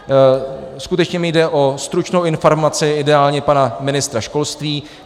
Skutečně mi jde o stručnou informaci ideálně pana ministra školství.